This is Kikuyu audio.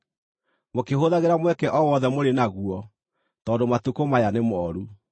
mũkĩhũthagĩra mweke o wothe mũrĩ naguo tondũ matukũ maya nĩ mooru.